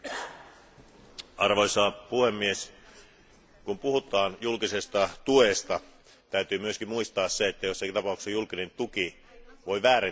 Arvoisa puhemies, kun puhutaan julkisesta tuesta, täytyy myös muistaa se, että joissakin tapauksissa julkinen tuki voi väärentää kilpailua.